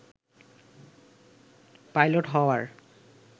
pilot হওয়ার